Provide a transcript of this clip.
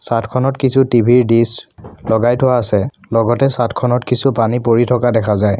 চাদখনত কিছু টি_ভি ৰ দিছ লগাই থোৱা আছে লগতে চাদখনত কিছু পানী পৰি থকা দেখা যায়।